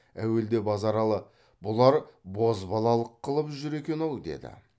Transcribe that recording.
әуелде базаралы бұлар бозбалалық қылып жүр екен ау деді